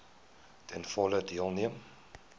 ten volle deelneem